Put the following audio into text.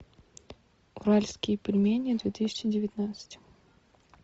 уральские пельмени две тысячи девятнадцать